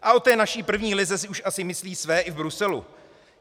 A o té naší první lize si už asi myslí své i v Bruselu.